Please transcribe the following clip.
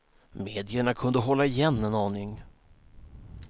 Medierna kunde hålla igen en aning.